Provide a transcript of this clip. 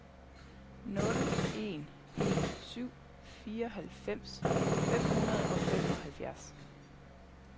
nul en en syv fireoghalvfems fem hundrede og femoghalvfjerds